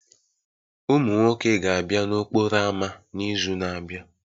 Ụmụ nwoke ga-abịa n'okporo ámá n'izu na-abịa